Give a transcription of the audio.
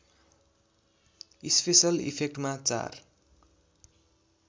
special इफेक्टमा चार